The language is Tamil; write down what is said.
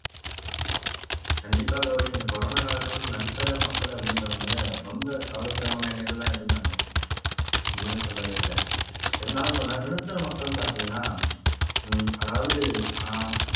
கண்டிப்பாக கௌரி இந்த corona காலகட்டத்துல நடுத்தர மக்கள் அப்படின்றவங்க ரொம்ப கவலைக்கிடமான நிலையிலதான் இருந்தாங்க இல்லைன்னு சொல்லவே இல்ல இருந்தாலும் இந்த நடுத்தர மக்கள் பார்த்தீங்கன்னா உம் அதாவது அஹ்